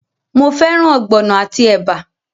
Mo fẹ́ràn ogbono àti ẹ̀bà?